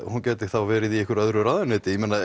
hún gæti þá verið í einhverju öðru ráðuneyti ég meina